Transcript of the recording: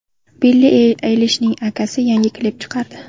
Billi Aylishning akasi yangi klip chiqardi .